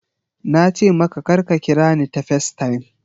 Na ce maka kar ka kira ni ta FaceTime!